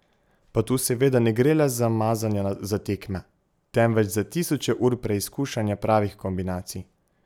Pa tu seveda ne gre le za mazanja za tekme, temveč za tisoče ur preizkušanja pravih kombinacij.